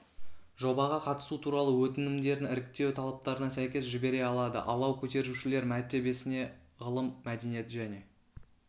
жобаға қатысу туралы өтінімдерін іріктеу талаптарына сәйкес жібере алады алау көтерушілер мәртебесіне ғылым мәдениет және